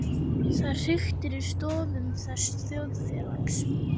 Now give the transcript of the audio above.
Það hriktir í stoðum þessa þjóðfélags.